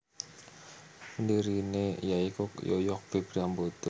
Pendirine ya iku Yoyok B Priambodo